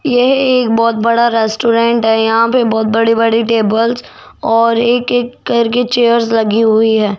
यह एक बहोत बड़ा रेस्टोरेंट है यहां पे बहुत बड़े बड़े टेबल्स और एक एक करके चेयर्स लगी हुई हैं।